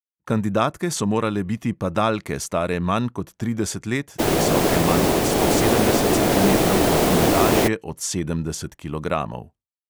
Kandidatke so morale biti padalke, stare manj kot trideset let, visoke manj kot sto sedemdeset centimetrov in lažje od sedemdeset kilogramov.